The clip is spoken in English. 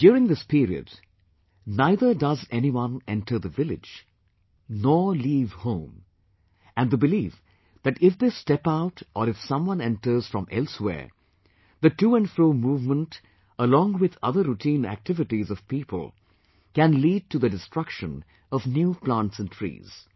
During this period, neither does anyone enter the village, nor leave home, and they believe that if they step out or if someone enters from elsewhere, the to and fro movement along with other routine activities of people can lead to the destruction of new plants and trees